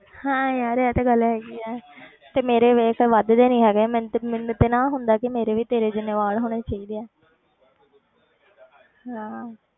ਹਾਂ ਯਾਰ ਇਹ ਤੇ ਗੱਲ ਹੈਗੀ ਹੈ ਤੇ ਮੇਰੇ ਵੇਖ ਵੱਧਦੇ ਨੀ ਹੈਗੇ ਮੈਨੂੰ ਤੇ ਮੈਨੂੰ ਤੇ ਨਾ ਹੁੰਦਾ ਕਿ ਮੇਰੇ ਵੀ ਤੇਰੇ ਜਿੰਨੇ ਵਾਲ ਹੋਣੇ ਚਾਹੀਦੇ ਹੈ।